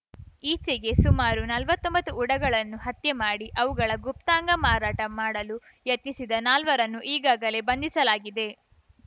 ಈಚೆಗೆ ಸುಮಾರು ನಲ್ವತ್ತೊಂಬತ್ತು ಉಡಗಳನ್ನು ಹತ್ಯೆ ಮಾಡಿ ಅವುಗಳ ಗುಪ್ತಾಂಗ ಮಾರಾಟ ಮಾಡಲು ಯತ್ನಿಸಿದ ನಾಲ್ವರನ್ನು ಈಗಾಗಲೇ ಬಂಧಿಸಲಾಗಿದೆ